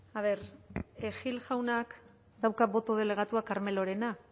a ver gil jaunak dauka boto delegatua carmelorena